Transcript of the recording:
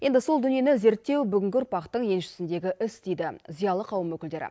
енді сол дүниені зерттеу бүгінгі ұрпақтың еншісіндегі іс дейді зиялы қауым өкілдері